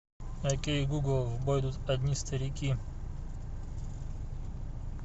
окей гугл в бой идут одни старики